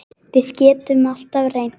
Við getum alltaf reynt.